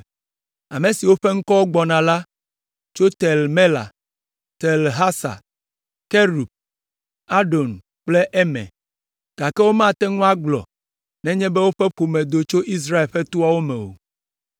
Ame siwo ƒe ŋkɔwo gbɔna la tso Tel Mela, Tel Harsa, Kerub, Adon kple Imer, gake womate ŋu agblɔ nenye be woƒe ƒome do tso Israel ƒe toawo me o.